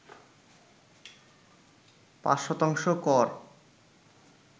৫ শতাংশ কর